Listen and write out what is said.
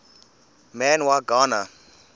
man y gana